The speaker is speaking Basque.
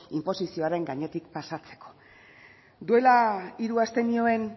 inposizioaren gainetik pasatzeko duela hiru aste nioen